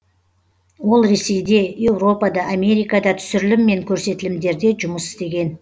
ол ресейде еуропада америкада түсірілім мен көрсетілімдерде жұмыс істеген